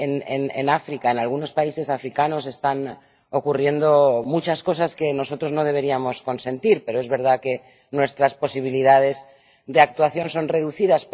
En África, en algunos países africanos están ocurriendo muchas cosas que nosotros no deberíamos consentir, pero es verdad que nuestras posibilidades de actuación son reducidas.